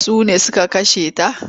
Sune suka kashe ta?